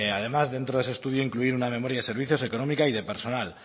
además dentro de ese estudio incluir una memoria de servicios económica y de personal